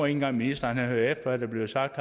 engang ministeren hører efter hvad der bliver sagt